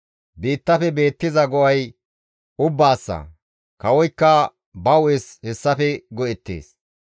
Biittafe beettiza go7ay ubbaassa; kawoykka ba hu7es hessafe go7ettees.